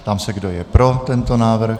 Ptám se, kdo je pro tento návrh.